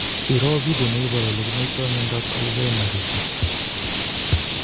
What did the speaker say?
Iroo video neiparu olekinaitoi miondap alzheimersishek